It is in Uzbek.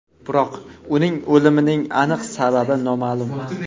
Biroq, uning o‘limining aniq sababi noma’lum.